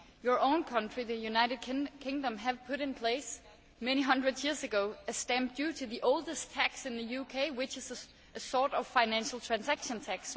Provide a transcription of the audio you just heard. Your own country, the United Kingdom, put in place many hundreds of years ago a stamp duty, the oldest tax in the UK, which is a sort of financial transaction tax.